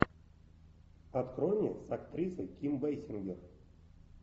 открой мне с актрисой ким бейсингер